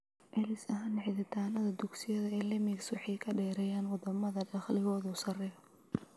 Celcelis ahaan, xidhitaannada dugsiyada ee LMICs waxay ka dheeraayeen wadamada dakhligoodu sarreeyo.